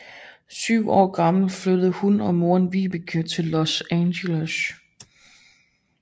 Syv år gammel flyttede hun og moren Vibeke til Los Angeles